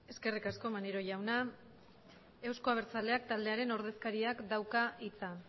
eskerrik asko maneiro jauna euzko abertzaleak taldearen ordezkariak dauka hitza